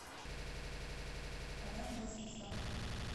полярная звезда